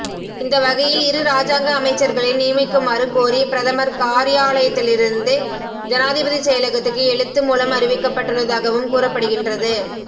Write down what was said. இந்த வகையில் இரு இராஜாங்க அமைச்சர்களை நியமிக்குமாறு கோரி பிரதமர் காரியாலயத்திலிருந்து ஜனாதிபதி செயலகத்துக்கு எழுத்து மூலம் அறிவிக்கப்பட்டுள்ளதாகவும் கூறப்படுகின்றது